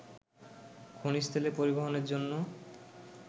খনিজ তেল পরিবহনের জন্য